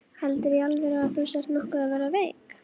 Heldurðu í alvöru að þú sért nokkuð að verða veik.